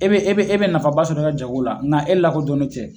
E e bɛ e bɛ nafaba sɔrɔ jago la nka e lakodɔnnen cɛ